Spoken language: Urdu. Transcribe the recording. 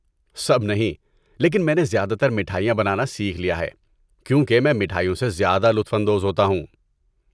سب نہیں، لیکن میں نے زیادہ تر مٹھائیاں بنانا سیکھ لیا ہے، کیونکہ میں مٹھائیوں سے زیادہ لطف اندوز ہوتا ہوں۔